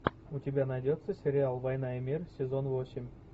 у тебя найдется сериал война и мир сезон восемь